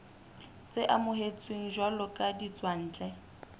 tse amohetsweng jwalo ka ditswantle